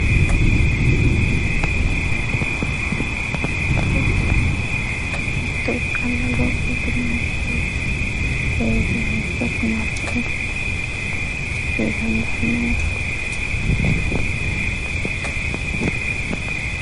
Giddo mitto ikkanna loosu teese heeshshosi marrae dandaanno yaate.